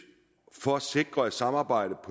for at sikre at samarbejdet